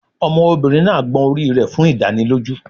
Ọmọbìnrin náà gbọn orí rẹ̀ fún ìdánilójú